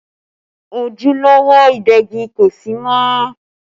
Ojúlówó ìdegi kò sí mọ́